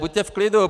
Buďte v klidu.